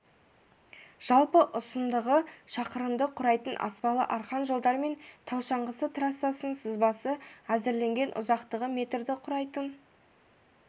жалпы ұсындығы шақырымды құрайтын аспалы арқан жолдар мен тау шаңғысы трассасының сызбасы әзірленген ұзақтығы метрді құрайтын